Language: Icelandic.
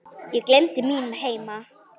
Ég gleymdi mínum heima